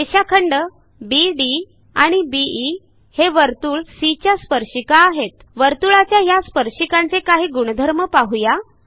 रेषाखंड बीडी आणि बीई हे वर्तुळ सी च्या स्पर्शिका आहेत वर्तुळाच्या ह्या स्पर्शिकांचे काही गुणधर्म पाहू या